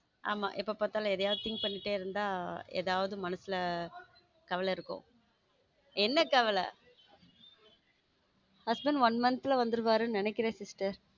ஆமா எப்ப பாத்தாலும் ஏதாவது think பண்ணிட்டு இருந்தா ஏதாவது மனசுல கவலை இருக்கும் என்ன கவல husband one month வந்துருவாருன்னு நினைக்கிறேன் sister.